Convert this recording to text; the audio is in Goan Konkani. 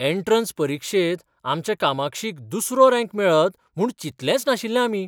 एंट्रन्स परिक्षेंत आमच्या कामाक्षीक दुसरो रँक मेळत म्हूण चितलेंच नाशिल्लें आमी?